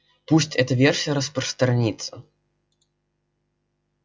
пусть эта версия распространится